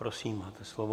Prosím, máte slovo.